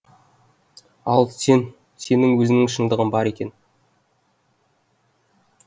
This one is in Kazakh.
ал сен сенің өзіңнің шындығың бар екен